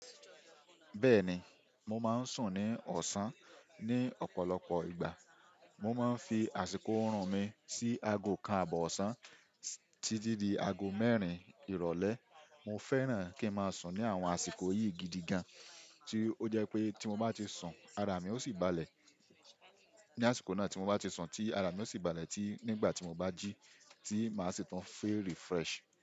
Bẹ́ẹ̀ni, mo máa ń sùn ní ọ̀sán ní ọ̀pọ̀lọpọ̀ ìgbà. Mo máa ń fi àsìkò ọ̀rùn mi sí aago kan àbọ̀ ọ̀sán títí di aago mẹ́rin ìrọ̀lẹ́. Mo fẹ́ràn kí ń máa sùn ní àwọn àsìkò yìí gidi gan, tí ó jẹ pé tí mo bá ti sùn, ara mi ó sì balẹ̀ ní àsìkò náà tí mo bá ti sùn tí ara mi ó sì balẹ̀ tí nígbà tí mo bá jí tí máa sì tún fẹ́ refresh.